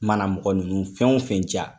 Mana mɔgɔ nunnu fɛn wo fɛn ja